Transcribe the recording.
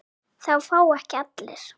Það fá ekki allir.